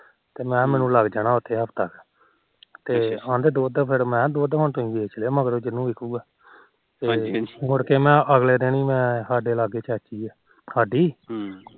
ਤੇ ਮੈ ਕਿਹਾ ਮੈਨੂੰ ਲੱਗ ਜਾਣਾ ਹਾਫਤਾ ਉਤੇ ਤੇ ਕਹਿੰਦੇ ਦੁਧ ਫਿਰ ਮੈ ਦੁਧ ਵੋਚ ਲਿਓ ਜਿਹਨੂੰ ਵਿਚੁਗਾ ਮੁੜ ਮੈ ਅਗਲੇ ਦਿਨ ਹੀ ਸਾਡੇ ਲਾਗੇ ਚਾਚੀ ਆ ਸਾਡੀ ਚਾਚੀ